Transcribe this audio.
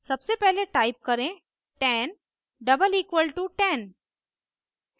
सबसे पहले टाइप करें 10 डबल इक्वल टू 10